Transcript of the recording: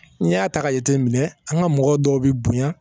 N'i y'a ta ka jateminɛ an ka mɔgɔ dɔw bɛ bonya